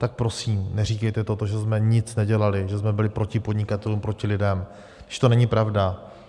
Tak prosím neříkejte to, že jsme nic nedělali, že jsme byli proti podnikatelům, proti lidem, když to není pravda.